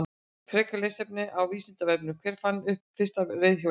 Frekara lesefni á Vísindavefnum: Hver fann upp fyrsta reiðhjólið?